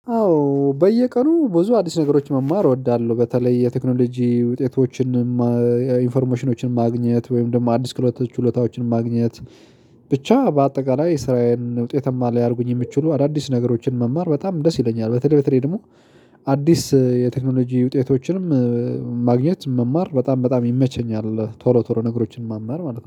አዎ በየቀኑ ብዙ አዲስ ነገሮች መማር እወዳለሁ በተለይ የቴክኖሎጂ ውጤቶችን ኢንፎርሞሽኖችን ማግኘት ወይም ደግሞ አዲስ ክህሎቶች ችሎታዎችን ማግኘት። ብቻ በአጠቃላይ ስራየን ውጤታማ ሊያደርጉኝ የምችሉ አዳዲስ ነገሮችን መማር በጣም ደስ ይለኛል። በተለይ በተለይ ደግሞ አዲስ የቴክኖሎጂ ውጤቶችንም ማግኘት መማር በጣም በጣም ይመቸኛል። ቶሎ ቶሎ ነገሮችን ማማር ማለት ነው